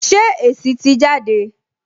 Ṣé èsì tì jáde?